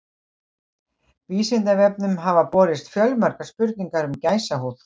Vísindavefnum hafa borist fjölmargar spurningar um gæsahúð.